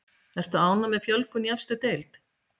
Ertu ánægð með fjölgun í efstu deild?